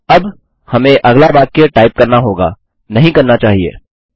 अब हमें अगला वाक्य टाइप करना होगा नहीं करना चाहिए160